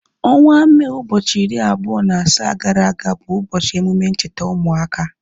Ọnwa Mee ụbọchị iri abụọ na asaa gara aga bụ ụbọchị emume ncheta ụmụaka